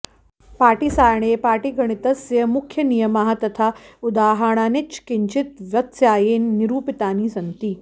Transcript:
पाटीसारे पाटीगणितस्य मुख्यनियमाः तथा उदहाणानिच किञ्चित् व्यत्यासेन निरूपितानि सन्ति